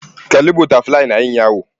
Kalli Butterfly Yayin Yawo